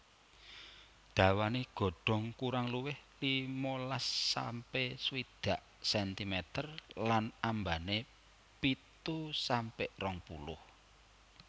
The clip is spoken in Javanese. Dawané godhong kurang luwih limalas sampe swidak sentimeter lan ambané pitu sampe rong puluh